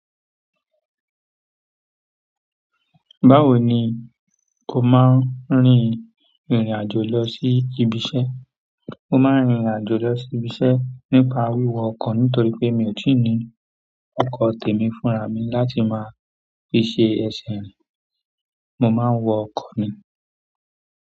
Báwo ni kò máa ń rìnrìn àjò lọ sí ibiṣẹ́? Mo máa ń rìnrìn àjò lọ̀ sí ibiṣẹ́ nípa wíwọ ọkọ̀ nítorí pé mi ò tí ì ní ọkọ̀ tèmi fúnra mi láti máa fi ṣe ẹṣinrìn. Mo máa ń wọ ọkọ̀ mi.